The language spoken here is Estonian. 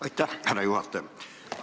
Aitäh, härra juhataja!